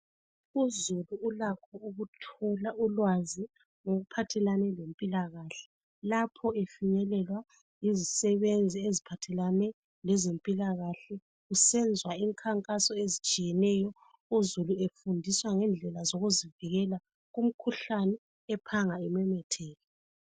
Uzulu ulakho okuthola ulwazi ngokuphathelane lempilakahle lapho efinyelelwa yizisebenzi eziphathelane lezempilakahle kusenzwa imikhankaso ezihlukeneyo uzulu efundiswa ngendlela zokuzivikela kumkhuhlane ephanga imemetheke.